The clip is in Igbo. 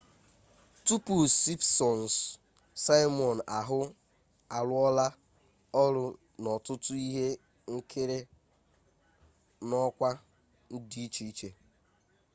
tupu simpsons simon ahụ arụọla ọrụ n'ọtụtụ ihe nkiri n'ọkwa dị iche iche